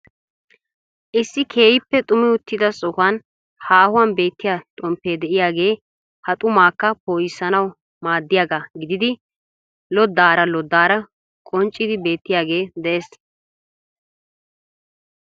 Issi keehippe xumi uttida sohuwan haahuwan beettiya xomppe de'iyaagee ha xumakka po"issanaw maaddiyaaga gididi lodaara lodaara qonccidi beettiyaage de'ees .